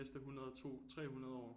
De næste 100 2 300 år